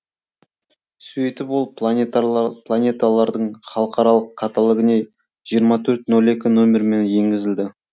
сөйтіп ол планеталардың халықаралық каталогіне жиырма төрт ноль екі нөмермен енгізілді